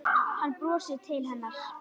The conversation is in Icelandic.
Hann brosir til hennar.